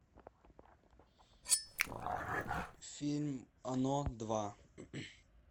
фильм оно два